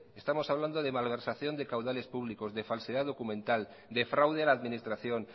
estamos hablando de malversación de caudales públicos de falsedad documental de fraude a la administración